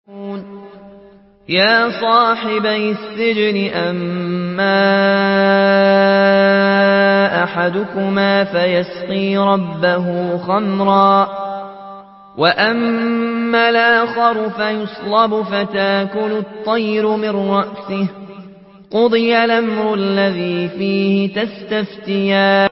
يَا صَاحِبَيِ السِّجْنِ أَمَّا أَحَدُكُمَا فَيَسْقِي رَبَّهُ خَمْرًا ۖ وَأَمَّا الْآخَرُ فَيُصْلَبُ فَتَأْكُلُ الطَّيْرُ مِن رَّأْسِهِ ۚ قُضِيَ الْأَمْرُ الَّذِي فِيهِ تَسْتَفْتِيَانِ